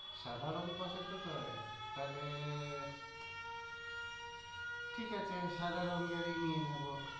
সাদা রঙ পছন্দ করে? তাহলে ঠিক আছে, সাদা রঙেরই নিয়ে নেবো।